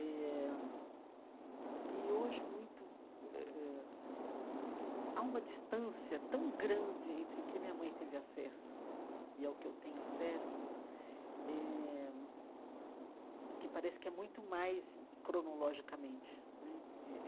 Eh e, hoje muito eh, há uma distância tão grande entre o que minha mãe teve acesso e ao que eu tenho acesso eh, que parece que é muito mais cronologicamente né eh.